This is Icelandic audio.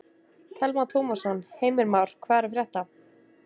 Telma Tómasson: Heimir Már, hvað er að frétta?